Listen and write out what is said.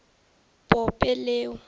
pope leo